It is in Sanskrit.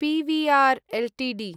PVR Ltd